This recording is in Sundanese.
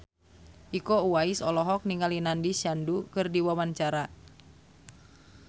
Iko Uwais olohok ningali Nandish Sandhu keur diwawancara